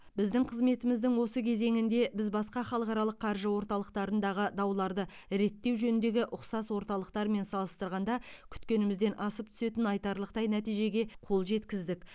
біздің қызметіміздің осы кезеңінде біз басқа халықаралық қаржы орталықтарындағы дауларды реттеу жөніндегі ұқсас орталықтармен салыстырғанда күткенімізден асып түсетін айтарлықтай нәтижеге қол жеткіздік